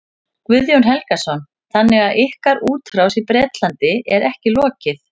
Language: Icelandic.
Guðjón Helgason: Þannig að ykkar útrás í Bretlandi er ekki lokið?